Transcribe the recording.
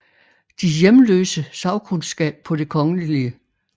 De hjemløse sagkundskab på Det Kgl